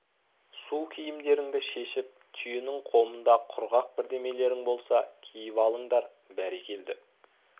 су киімдеріңді шешіп түйенің қомында құрғақ бірдемелерің болса киіп алыңдар бәрекелді